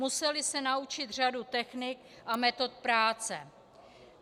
Museli se naučit řadu technik a metod práce.